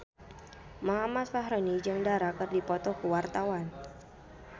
Muhammad Fachroni jeung Dara keur dipoto ku wartawan